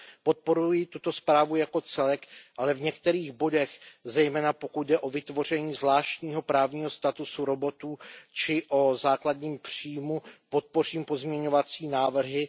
Podporuji tuto zprávu jako celek, ale v některých bodech, zejména pokud jde o vytvoření zvláštního právního statusu robotů či o základní příjem, podpořím pozměňovací návrhy.